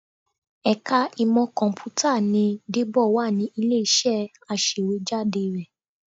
Ẹ̀ka ìmọ Kọ̀m̀pútà ni Débọ̀ wà ní ilé-iṣẹ́ aṣèwéjádé rẹ